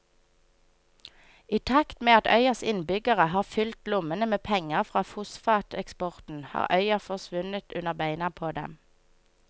I takt med at øyas innbyggere har fylt lommene med penger fra fosfateksporten har øya forsvunnet under beina på dem.